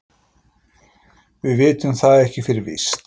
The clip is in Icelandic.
Við vitum það ekki fyrir víst.